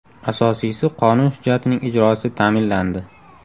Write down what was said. Asosiysi qonun hujjatining ijrosi ta’minlandi.